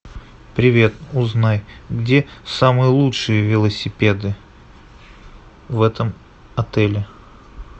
привет узнай где самые лучшие велосипеды в этом отеле